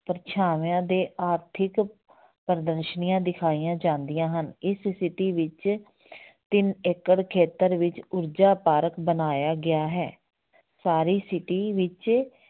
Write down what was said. ਪਰਛਾਵਿਆਂ ਦੇ ਆਰਥਿਕ ਪ੍ਰਦਰਸ਼ਨੀਆਂ ਦਿਖਾਈਆਂ ਜਾਂਦੀਆਂ ਹਨ, ਇਸ city ਵਿੱਚ ਤਿੰਨ ਏਕੜ ਖੇਤਰ ਵਿੱਚ ਊਰਜਾ park ਬਣਾਇਆ ਗਿਆ ਹੈ ਸਾਰੀ city ਵਿੱਚ